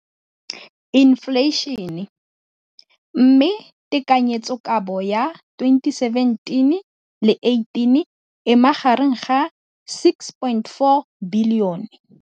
Infleišene, mme tekanyetsokabo ya 2017, 18, e magareng ga R6.4 bilione.